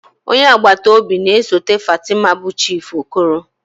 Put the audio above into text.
Onye agbata obi na-esote Fatima bụ Chief Okoro.